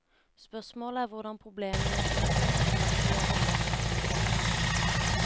Spørsmålet er hvordan problemene i økonomien etterhvert vil åpenbare seg.